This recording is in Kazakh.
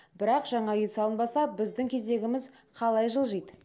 бірақ жаңа тұрғын үй салынбаса біздің кезегіміз қалай жылжиды